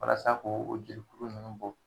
Walasa k'o o jelikuru ninnu bo